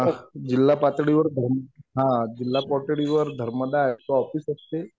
जिल्हा पातळीवर हा. जिल्हा पातळीवर धर्मदायचं ऑफिस असते.